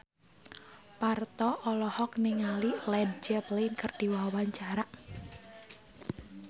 Parto olohok ningali Led Zeppelin keur diwawancara